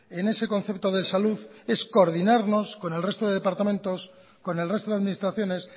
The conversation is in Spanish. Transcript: en ese concepto de salud es coordinarnos con el resto de departamentos con el resto de administraciones